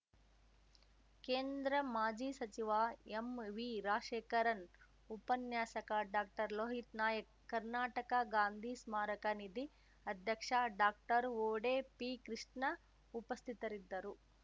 ಕೇಂದ್ರ ಮಾಜಿ ಸಚಿವ ಎಂವಿರಾಶೇಖರನ್‌ ಉಪನ್ಯಾಸಕ ಡಾಕ್ಟರ್ಲೋಹಿತ್ ನಾಯ್ಕ ಕರ್ನಾಟಕ ಗಾಂಧೀ ಸ್ಮಾರಕ ನಿಧಿ ಅಧ್ಯಕ್ಷ ಡಾಕ್ಟರ್ವೂಡೇ ಪಿಕೃಷ್ಣ ಉಪಸ್ಥಿತರಿದ್ದರು